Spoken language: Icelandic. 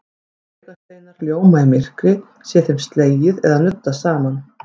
Draugasteinar ljóma í myrkri sé þeim slegið eða nuddað saman.